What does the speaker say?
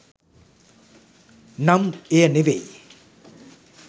නම් එය නෙවෙයි.